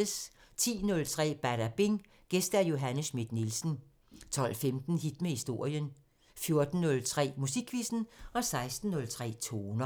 10:03: Badabing: Gæst Johanne Schmidt-Nielsen 12:15: Hit med historien 14:03: Musikquizzen 16:03: Toner